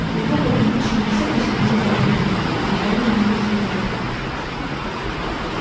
на его побледневшем лице проступили капли пота назвал её грязнокровкой